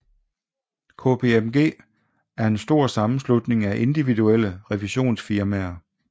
KPMG er en stor sammenslutning af individuelle revisionsfirmaer